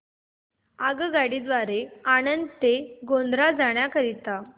आगगाडी द्वारे आणंद ते गोध्रा जाण्या करीता